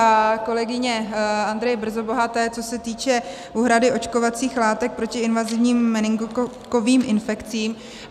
A kolegyně Andrey Brzobohaté, co se týče úhrady očkovacích látek proti invazivním meningokokovým infekcím.